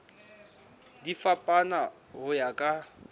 di fapana ho ya ka